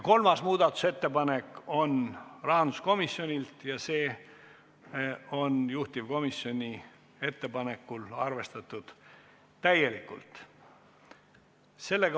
Kolmas muudatusettepanek on rahanduskomisjonilt ja seda on juhtivkomisjon täielikult arvestatud.